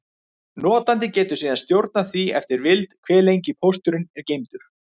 Notandi getur síðan stjórnað því eftir vild, hve lengi pósturinn er geymdur.